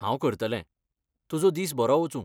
हांव करतलें. तुजो दीस बरो वचूं.